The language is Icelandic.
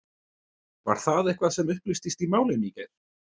Var það eitthvað sem upplýstist í málinu í gær?